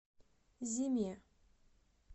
зиме